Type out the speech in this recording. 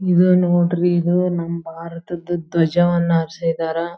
ಇದು ನೋಡ್ರಿ ಇದ ನಮ್ಮ ಭಾರತದ್ ಧ್ವಜವನ್ನ ಹಾರಿಸಿದ್ದಾರಾ.